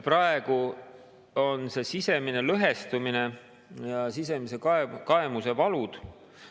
Praegu on Reformierakonna sisemine lõhestumine ja sisemise kaemuse valud …